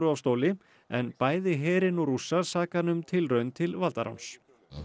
af stóli en bæði herinn og Rússar saka hann um tilraun til valdaráns